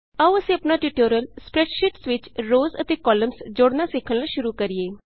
ਆਉ ਅਸੀਂ ਆਪਣਾ ਟਿਯੂਟੋਰਿਅਲ ਸਪਰੈੱਡਸ਼ੀਟਸ ਵਿਚ ਰੋਅਜ਼ ਅਤੇ ਕਾਲਮਸ ਜੋੜਨਾ ਸਿੱਖਣ ਨਾਲ ਸ਼ੁਰੂ ਕਰੀਏ